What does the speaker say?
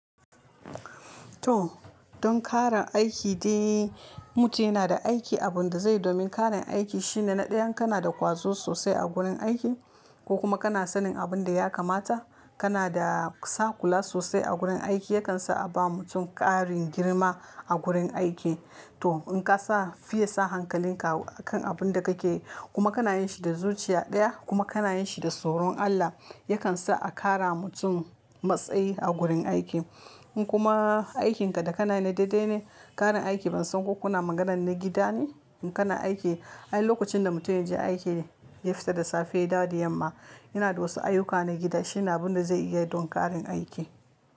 To, don ƙarin aiki dai mutum yana da aiki abun da zai domin ƙarin aiki shine na ɗaya in kana da ƙwazo sosai a gurin aiki ko kuma kana sanin abun da ya kamata, kana da saƙula sosai a gurin aiki yakan sa a ba mutum ƙarin girma a gurin aiki. To in ka sa fiye sa hankalinka kan abun da kake yi kuma kana yin shi da zuciya ɗaya kuma kana yin shi da tsoron Allah yakan sa a ƙara mutum matsayi a gurin aiki. In kuma aikinka da kana yi na daidai ne ƙarin aiki bansan ko kuna maganar na gida ne in kana aiki, ai lokacin da mutum ya je aiki ya fita da safe ya dawo da yamma yana da wasu ayuka na gida shine abun da zai iya don ƙarin aiki.